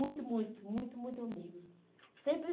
Muito, muito, muito, muito amigos. Sempre